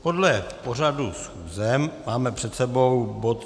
Podle pořadu schůze máme před sebou bod